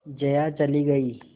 जया चली गई